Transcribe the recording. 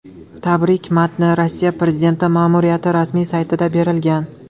Tabrik matni Rossiya prezidenti ma’muriyati rasmiy saytida berilgan .